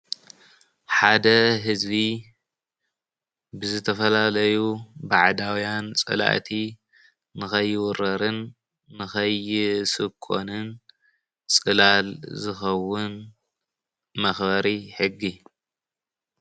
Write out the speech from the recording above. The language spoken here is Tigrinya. ሓደ ህዝቢ ብዝትፈላለዩ ባዕዳውያን ፀላእቲ ንከይውረርን ንከይስኮንን ፅላል ዝከውን መክበሪ ሕጊ።